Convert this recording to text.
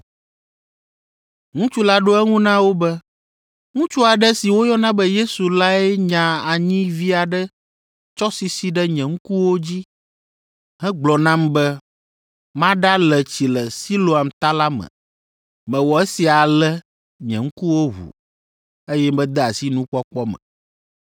Ŋutsu la ɖo eŋu na wo be, “Ŋutsu aɖe si woyɔna be Yesu lae nya anyi vi aɖe tsɔ sisi ɖe nye ŋkuwo dzi hegblɔ nam be maɖale tsi le Siloam Ta la me. Mewɔ esia ale nye ŋkuwo ʋu, eye mede asi nukpɔkpɔ me.”